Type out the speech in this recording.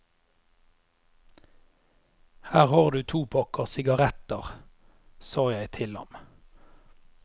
Her har du to pakker sigaretter, sa jeg til ham.